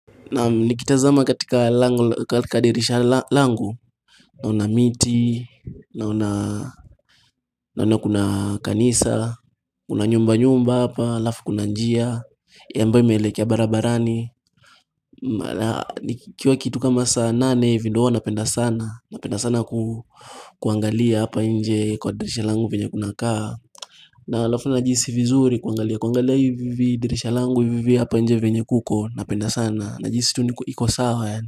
Naam nikitazama katika lango katika dirisha la langu Naona miti, naona naona kuna kanisa, kuna nyumba nyumba hapa, alafu kuna njia ambaye ime elekea barabarani Nikiwa kitu kama saa nane hivi ndo huwa napenda sana napenda sana kuangalia hapa nje kwa dirisha langu venye kuna kaa na alafu najihisi vizuri kuangalia kuangalia hivi dirisha langu hivi hapa nje venye kuko napenda sana najihisi tu niko iko sawa yaani.